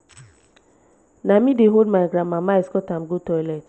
na me dey hold my grandmama escort am go toilet.